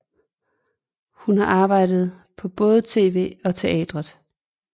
Hun har arbejdet på både tv og teateret